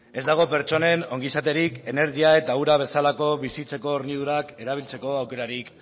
ez dago pertsonen ongizaterik energia eta ura bezalako bizitzeko hornidurak erabiltzeko aukerarik